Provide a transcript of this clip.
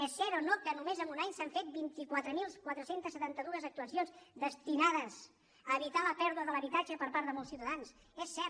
és cert o no que només en un any s’han fet vint quatre mil quatre cents i setanta dos actuacions destinades a evitar la pèrdua de l’habitatge per part de molts ciutadans és cert